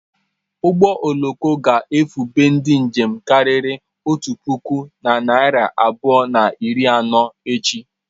Ụgbọ oloko a ga-ebufe ndi njem karịrị otu puku na narị abụọ na iri anọ echi.